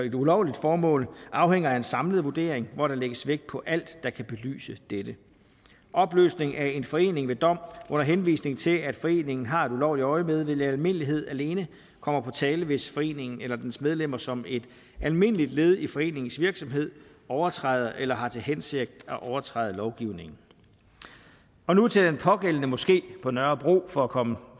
et ulovligt formål afhænger af en samlet vurdering hvor der lægges vægt på alt der kan belyse dette opløsning af en forening ved dom under henvisning til at foreningen har et ulovligt øjemed vil i almindelighed alene komme på tale hvis foreningen eller dens medlemmer som et almindeligt led i foreningens virksomhed overtræder eller har til hensigt at overtræde lovgivningen nu til den pågældende moské på nørrebro for at komme